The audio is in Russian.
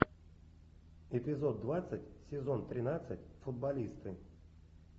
эпизод двадцать сезон тринадцать футболисты